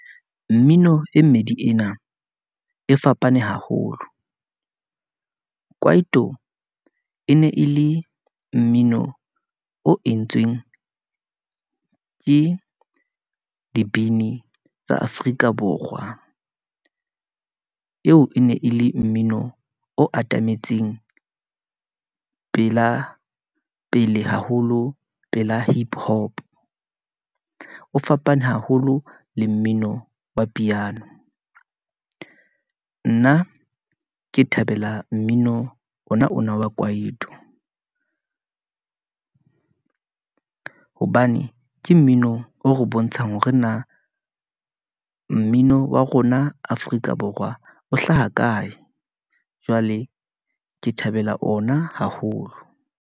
Mmino e mmedi ena e fapane haholo. Kwaito e ne e le mmino o entsweng ke dibini tsa Afrika Borwa , eo e ne e le mmino o atametseng pela pele haholo, pela hip hop. O fapane haholo le mmino wa piano, nna ke thabela mmino ona ona wa kwaito [pause [, hobane ke mmino o re bontshang hore na mmino wa rona Afrika Borwa o hlaha kae. Jwale ke thabela ona haholo.